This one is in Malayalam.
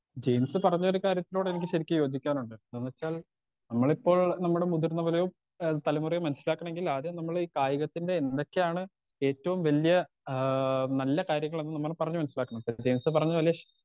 സ്പീക്കർ 2 ജെയിംസ് പറഞ്ഞൊരു കാര്യത്തോടെനിക്ക് യോജിക്കാനുണ്ട് എന്താന്നെച്ചാൽ നമ്മളിപ്പോൾ നമ്മടെ മുതിർന്നവരെയോ ഏ തലമുറയോ മനസ്സിലാക്കണെങ്കിൽ ആദ്യം നമ്മളീ കായികത്തിന്റെ എന്തൊക്കെയാണ് ഏറ്റോം വല്ല്യ ആ നല്ല കാര്യങ്ങളെന്ന് പറഞ്ഞ് മനസ്സിലാക്കണം ഇപ്പൊ ജെയിംസ് പറഞ്ഞ പോലെ.